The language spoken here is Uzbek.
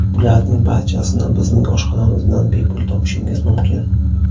Bularning barchasini bizning oshxonamizdan bepul topishingiz mumkin!